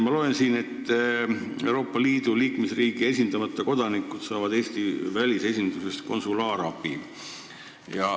Ma loen siit, et Euroopa Liidu liikmesriigi esindamata kodanikud saavad Eesti välisesindusest konsulaarabi.